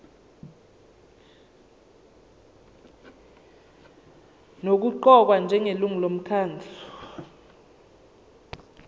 nokuqokwa njengelungu lomkhandlu